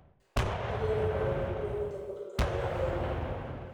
nĩ getha mwĩrĩ waku ũhote kũruta wĩra wega.